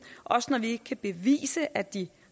også når vi kan bevise at de